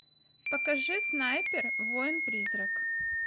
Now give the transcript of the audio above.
покажи снайпер воин призрак